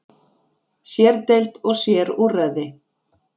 Sér-deild og sér-úrræði.